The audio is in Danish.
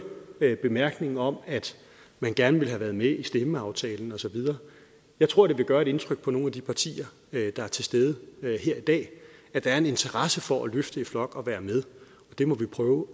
bemærkningen om at man gerne ville have været med i stemmeaftalen og så videre jeg tror det vil gøre indtryk på nogle af de partier der er til stede her i dag at der er en interesse for at løfte i flok og være med det må vi prøve